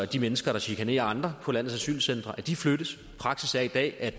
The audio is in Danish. de mennesker der chikanerer andre på landets asylcentre flyttes praksis er i dag at